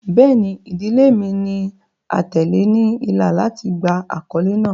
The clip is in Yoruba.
Bẹẹni, idile mi ni atẹle ni ila lati gba akọle naa